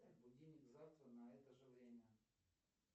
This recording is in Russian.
будильник завтра на это же время